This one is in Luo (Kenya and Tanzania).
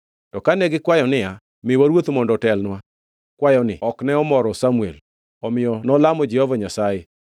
To kane gikwayo niya, “Miwa ruoth mondo otelnwa,” kwayoni ok ne omoro Samuel, omiyo nolamo Jehova Nyasaye.